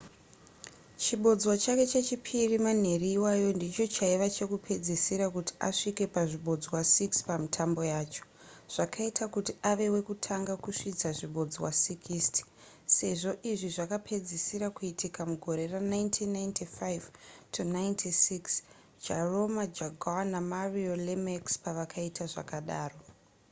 chibodzwa chake chechipiri manheru iwayo ndicho chaiva chekupedzisira kuti asvike pazvibodzwa 60 pamitambo yacho zvikaita kuti ave wekutanga kusvitsa zvibodzwa 60 sezvo izvi zvakapedzisira kuitika mugore ra1995-96 jaromir jagr namario lemieux pavakaita zvakadaro